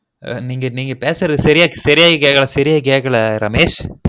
நீங்க பேசுறது சரியா சரியா கேக்கல சரியா கேக்கல ரமேஷ்